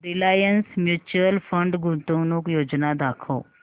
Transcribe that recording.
Reliance mutual fund गुंतवणूक योजना दाखव